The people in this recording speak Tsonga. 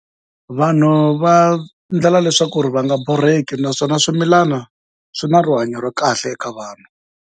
Vanhu va endlela leswaku va nga borheki, naswona swimilana swi na rihanyo ra kahle eka vanhu.